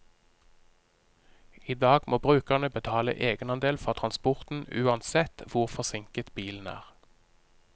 I dag må brukerne betale egenandel for transporten uansett hvor forsinket bilen er.